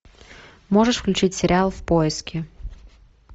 можешь включить сериал в поиске